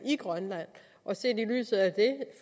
i grønland